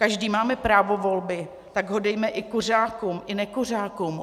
Každý máme právo volby, tak ho dejme i kuřákům i nekuřákům.